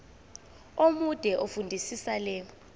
omude fundisisa le